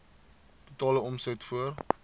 totale omset voor